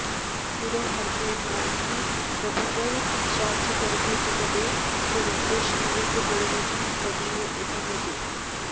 गुरौ मन्त्रे नाम्नि प्रभुवरशचीगर्भजपदे स्वरूपे श्रीरूपे गणयुजि तदीयप्रथमजे